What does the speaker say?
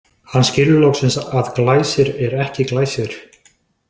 Hann skilur loksins að Glæsir er ekki Glæsir.